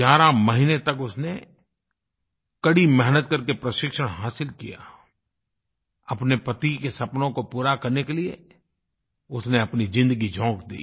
11 महीने तक उसने कड़ी मेहनत करके प्रशिक्षण हासिल किया और अपने पति के सपनों को पूरा करने के लिए उसने अपनी ज़िन्दगी झोंक दी